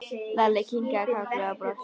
Lalli kinkaði kolli og brosti.